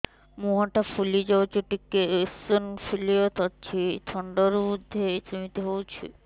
ମୁହଁ ଟା ଫୁଲି ଯାଉଛି ଟିକେ ଏଓସିନୋଫିଲିଆ ଅଛି ଥଣ୍ଡା ରୁ ବଧେ ସିମିତି ହଉଚି